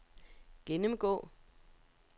gennemgå